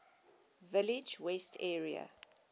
village west area